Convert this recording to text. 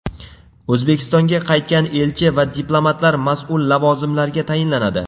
O‘zbekistonga qaytgan elchi va diplomatlar mas’ul lavozimlarga tayinlanadi.